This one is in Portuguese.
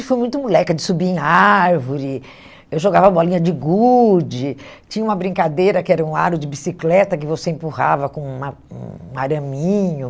fui muito moleca de subir em árvore, eu jogava bolinha de gude, tinha uma brincadeira que era um aro de bicicleta que você empurrava com um a um araminho.